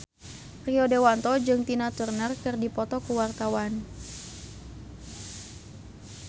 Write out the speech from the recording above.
Rio Dewanto jeung Tina Turner keur dipoto ku wartawan